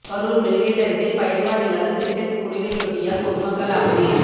Karur mill gate அருகில் பயன்பாடில்லாத சின்டெக்ஸ் குடிநீர் தொட்டியால் பொதுமக்கள் அவதி